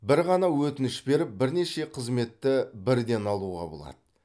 бір ғана өтініш беріп бірнеше қызметті бірден алуға болады